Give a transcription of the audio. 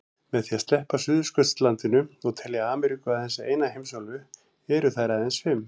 Með því að sleppa Suðurskautslandinu og telja Ameríku aðeins eina heimsálfu eru þær aðeins fimm.